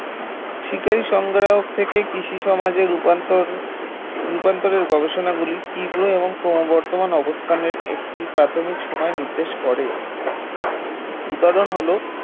শিকারী সংগ্রাহক থেকে কৃষি সমাজের রূপান্তর রূপান্তরের গবেষণাগুলি তীব্র এবং ক্রমবর্ধমান অবস্থানের একটি প্রাথমিক সময় নির্দেশ করে উদাহরণ হল